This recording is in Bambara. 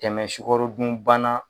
Tɛmɛ sukaro dun bana